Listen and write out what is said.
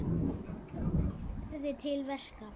Hann lærði til verka.